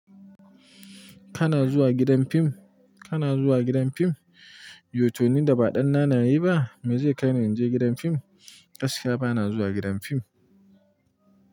Kana zuwa gidan fim? Kana zuwa gidan fim? Yautoni da ba ɗan nanaye ba, me zai kai ni in je gidan fim? Gaskiya ba na zuwa gidan fim.